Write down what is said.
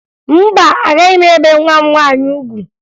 Mba, agaghị m ebe nwa m nwaanyị ugwu